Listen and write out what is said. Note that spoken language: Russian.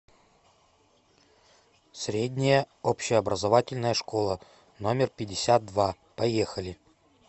средняя общеобразовательная школа номер пятьдесят два поехали